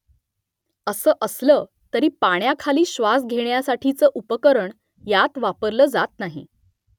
असं असलं तरी पाण्याखाली श्वास घेण्यासाठीचं उपकरण यात वापरलं जात नाही